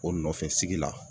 O nɔfɛsigi la